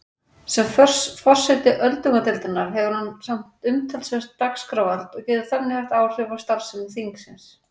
Sem forseti öldungadeildarinnar hefur hann umtalsvert dagskrárvald og getur þannig haft áhrif á starfsemi þingsins.